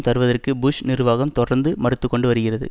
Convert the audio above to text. தருவதற்கு புஷ் நிர்வாகம் தொடர்ந்து மறுத்துக்கொண்டு வருகிறது